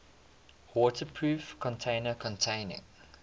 waterproof container containing